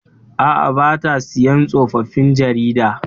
Aa, bata siyan tsofaffin jaridu